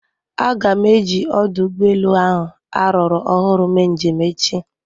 Aga m eji ọdụ ụgbọ elu ahụ ruru ọhụrụ mee njem echi.